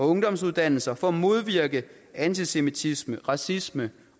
ungdomsuddannelserne for at modvirke antisemitisme racisme